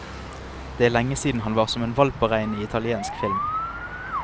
Det er lenge siden han var som en hvalp å regne i italiensk film.